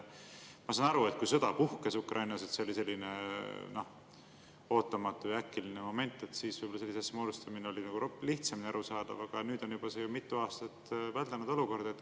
Ma saan aru, et kui Ukrainas puhkes sõda, siis see oli selline ootamatu ja äkiline moment ja võib-olla sellise oli lihtsamini arusaadav, aga nüüd on see juba mitu aastat väldanud olukord.